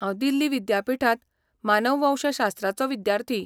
हांव दिल्ली विद्यापिठांत मानववंशशास्त्राचो विद्यार्थी.